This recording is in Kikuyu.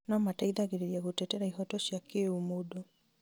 no mateithagĩrĩria gũtetera ihoto cia kĩũmũndũ